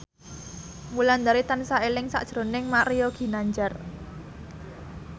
Wulandari tansah eling sakjroning Mario Ginanjar